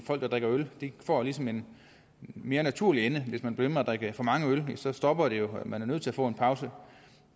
folk der drikker øl det får ligesom en mere naturlig ende hvis man bliver ved med at drikke for mange øl så stopper det jo og man er nødt til at få en pause